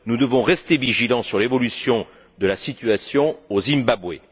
Nous devons rester vigilants sur l'évolution de la situation au Zimbabwe.